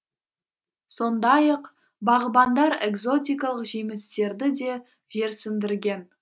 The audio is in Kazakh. сондай ақ бағбандар экзотикалық жемістерді де жерсіндірген